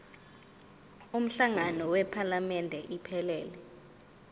umhlangano wephalamende iphelele